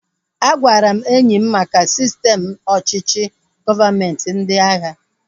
A gwara enyi m maka sistem ọchịchị gọọmenti ndị agha